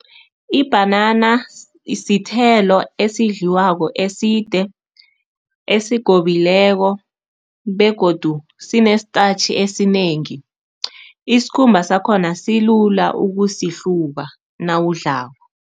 Ibhanana sithelo esidliwako, eside, esigobileko begodu sinesitatjhi esinengi. Isikhumba sakhona silula ukusihluba nawudlako.